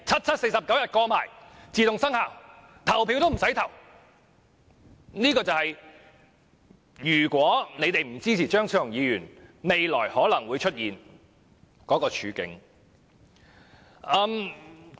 這便是如果建制派不支持張超雄議員的修正案，未來可能會出現的處境。